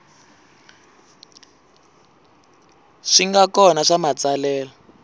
swi nga kona swa matsalelo